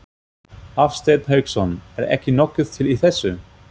Hafsteinn Hauksson: Er ekki nokkuð til í þessu?